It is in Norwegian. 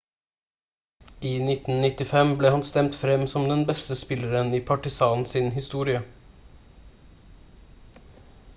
i 1995 ble han stemt frem som den beste spilleren i partizan sin historie